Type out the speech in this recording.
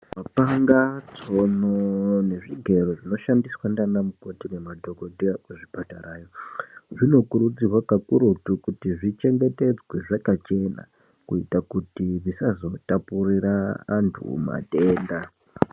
Mapanga tsono ngezvigero zvinoshandiswa ndiana mukhoti nemadhokodheya kuzvipatara zvinokurudzirwa kakurutu kuti zvichengetedzwe zvakachena kuita kuti zvisazotapurira antu matenda